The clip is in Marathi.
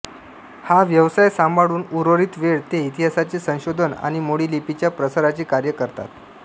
हा व्यवसाय सांभाळून उर्वरित वेळ ते इतिहासाचे संशोधन आणि मोडी लिपीच्या प्रसाराचे कार्य करतात